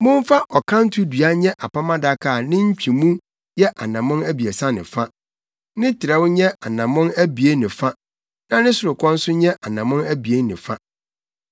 “Momfa ɔkanto dua nyɛ Apam Adaka a ne ntwemu yɛ anammɔn abiɛsa ne fa, ne trɛw nyɛ anammɔn abien ne fa na ne sorokɔ nso nyɛ anammɔn abien ne fa.